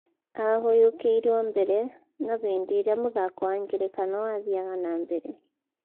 Ahũyũkĩirwo mbere na hĩndi ĩrĩa mũthako wa ngerekano wathiaga na mbere